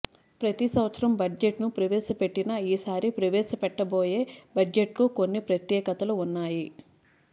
ప్రతి సంవత్సరం బడ్జెట్ ను ప్రవేశపెట్టినా ఈసారి ప్రవేశపెట్టబోయే బడ్జెట్ కు కొన్ని ప్రత్యేకతలు ఉన్నాయి